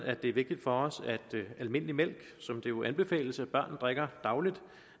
at det er vigtigt for os at almindelig mælk som det jo anbefales at børn drikker dagligt